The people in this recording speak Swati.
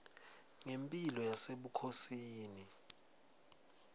ngemphilo yasebukhosini